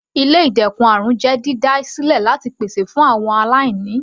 Ilé ìdẹ́kun àrùn jẹ́ dídá sílẹ láti pèsè ìrànwọ́ fún àwọn aláìní.